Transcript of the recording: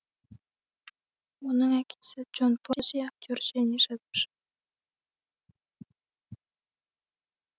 оның әкесі джон пози актер және жазуышы